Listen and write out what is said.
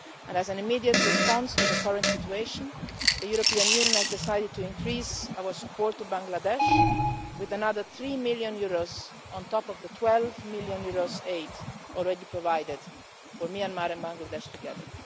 As an immediate response to the current situation, the European Union has decided to increase our support to Bangladesh with another EUR 3 million, on top of the EUR 12 million aid already provided for Myanmar and Bangladesh together.